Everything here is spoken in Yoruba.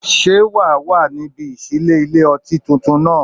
Ṣé́ wà á wà ní ibi ìṣílé ilé-ọtí tuntun náà?